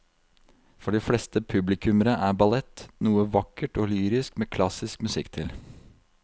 For de fleste publikummere er ballett noe vakkert og lyrisk med klassisk musikk til.